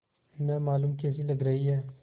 न मालूम कैसी लग रही हैं